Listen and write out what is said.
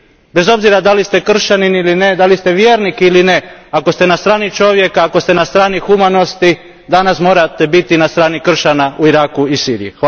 Bez obzira da li ste kršćanin ili ne, da li ste vjernik ili ne, ako ste na strani čovjeka, ako ste na strani humanosti danas morate biti na strani kršćana u Iraku i Siriji.